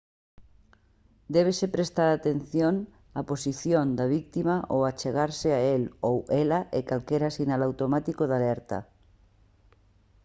débese prestar atención á posición da vítima ao achegarse a el ou ela e calquera sinal automático de alerta